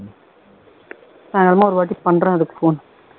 நான் என்னவோ ஒருவாட்டி பண்றேன் அதுக்கு phone